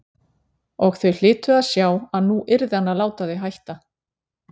Og þau hlytu að sjá að nú yrði hann að láta þau hætta.